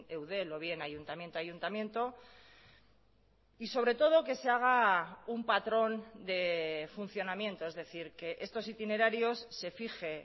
eudel o bien ayuntamiento a ayuntamiento y sobre todo que se haga un patrón de funcionamiento es decir que estos itinerarios se fije